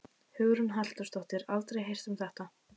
Hugrún Halldórsdóttir: Aldrei heyrt um þetta?